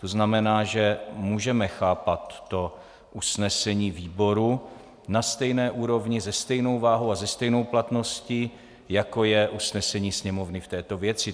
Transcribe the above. To znamená, že můžeme chápat to usnesení výboru na stejné úrovni, se stejnou váhou a se stejnou platností, jako je usnesení Sněmovny k této věci.